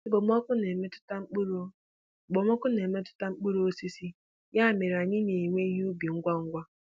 Okpomọkụ na-emetụta mkpụrụ Okpomọkụ na-emetụta mkpụrụ osisi, ya mere anyị na-ewe ihe ubi ngwa ngwa.